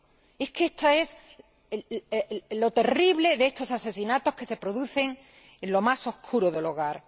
Y es que esto es lo terrible de estos asesinatos que se producen en lo más oscuro del hogar.